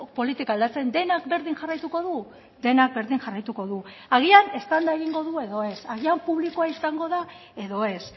politika aldatzen denak berdin jarraituko du denak berdin jarraituko du agian eztanda egingo du edo ez agian publikoa izango da edo ez